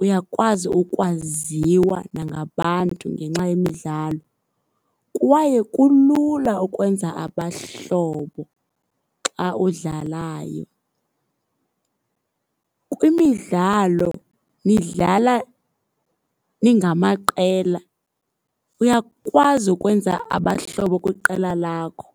Uyakwazi ukwaziwa nangabantu ngenxa yemidlalo. Kwaye kulula ukwenza abahlobo xa udlalayo. Kwimidlalo nidlala ningamaqela, uyakwazi ukwenza abahlobo kwiqela lakho.